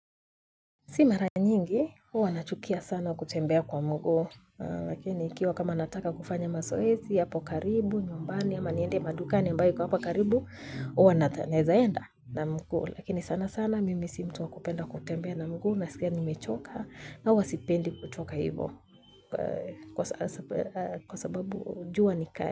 Si mara nyingi, huwa nachukia sana kutembea kwa mguu, lakini ikiwa kama nataka kufanya mazoezi, hapo karibu, nyumbani, ama niende madukani ambayo iko hapo karibu, huwa naeza enda na mguu, lakini sana sana mimi si mtu wa kupenda kutembea na mguu, nasikia nimechoka, na huwa sipendi kutoka hivo, kwa sababu jua ni kali.